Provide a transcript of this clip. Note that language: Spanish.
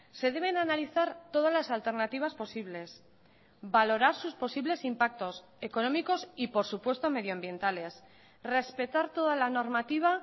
se deben analizar todas las alternativas posibles valorar sus posibles impactos económicos y por supuesto medioambientales respetar toda la normativa